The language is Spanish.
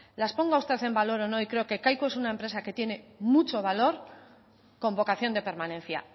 las ponga usted en valor o no y creo que kaiku es una empresa que tiene mucho valor con vocación de permanencia